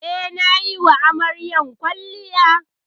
Eh, ni nayi wa amaryar kwalliya.